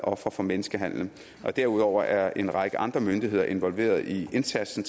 ofre for menneskehandel derudover er en række andre myndigheder involveret i indsatsen